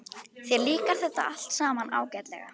Þér líkar þetta allt saman ágætlega.